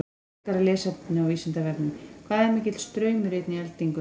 Frekara lesefni á Vísindavefnum: Hvað er mikill straumur í einni eldingu?